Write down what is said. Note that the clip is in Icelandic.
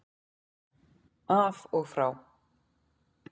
Af og frá